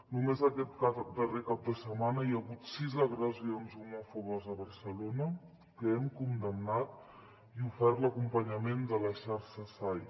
només aquest darrer cap de setmana hi ha hagut sis agressions homòfobes a barcelona que hem condemnat i ofert l’acompanyament de la xarxa sai